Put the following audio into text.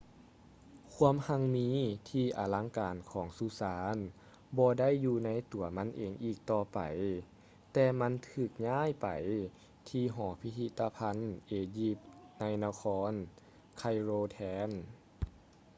ຄວາມຮັ່ງມີທີ່ອະລັງການຂອງສຸສານບໍ່ໄດ້ຢູ່ໃນຕົວມັນເອງອີກຕໍ່ໄປ ແຕ່ມັນຖືກຍ້າຍໄປທີ່ຫໍພິພິຕະພັນເອຢິບໃນນະຄອນ ໄຄໂຣ ແທນ